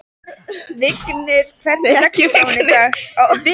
Vigur, hvernig er dagskráin í dag?